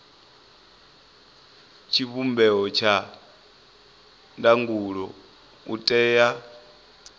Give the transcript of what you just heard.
tshivhumbeo tsha ndangulo u tea